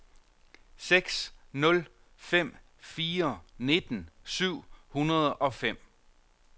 seks nul fem fire nitten syv hundrede og fem